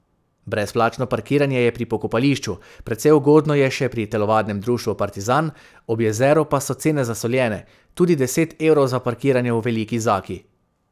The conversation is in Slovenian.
Brezplačno parkiranje je pri pokopališču, precej ugodno je še pri Telovadnem društvu Partizan, ob jezeru pa so cene zasoljene, tudi deset evrov za parkiranje v Veliki Zaki.